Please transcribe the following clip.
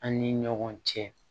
An ni ɲɔgɔn cɛ